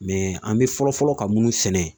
an bɛ fɔlɔ fɔlɔ ka minnu sɛnɛ